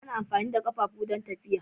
Ana amfani da ƙafafu don tafiya.